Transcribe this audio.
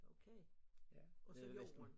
Okay ja også jorden